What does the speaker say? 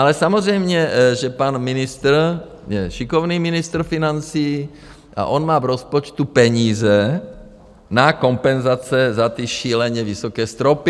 Ale samozřejmě že pan ministr je šikovný ministr financí a on má v rozpočtu peníze na kompenzace za ty šíleně vysoké stropy.